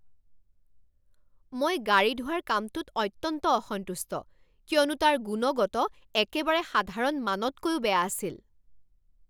মই গাড়ী ধোৱাৰ কামটোত অত্যন্ত অসন্তুষ্ট কিয়নো তাৰ গুণগত একেবাৰে সাধাৰণ মানতকৈও বেয়া আছিল।